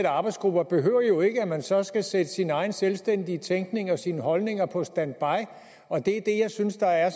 arbejdsgrupper behøver jo ikke at man så skal sætte sin egen selvstændige tænkning og sine holdninger på standby jeg synes der er